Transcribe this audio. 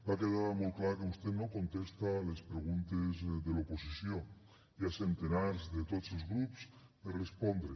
va quedar molt clar que vostè no contesta a les preguntes de l’oposició n’hi ha centenars de tots els grups per respondre